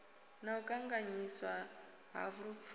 na u kanganyiswa ha lupfumo